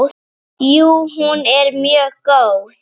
Jú, hún er mjög góð.